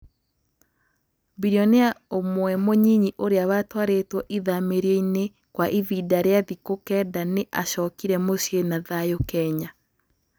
Bilionea ũmwe mũnyinyi ũrĩa watwarĩtwo ithamĩrio-inĩ kwa ivinda rĩa thikũ kenda nĩ acokire mũciĩ na thayũ Kenya.